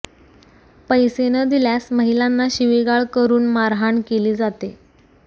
पैसे न दिल्यास महिलांना शिविगाळ करून मारहाण केली जाते